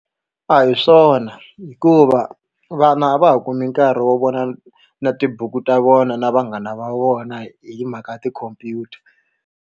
A hi swona hikuva vana a va ha kumi nkarhi wo vona na tibuku ta vona na vanghana va vona hi mhaka ya tikhompyuta.